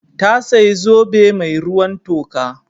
Ta sayi zobe mai ruwan toka.